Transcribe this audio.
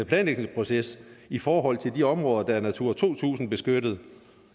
planlægningsproces i forhold til de områder der er natura to tusind beskyttede